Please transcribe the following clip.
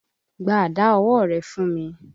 Gba àdá ọwọ́ rẹ̀ fún mi!